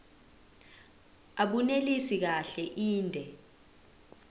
abunelisi kahle inde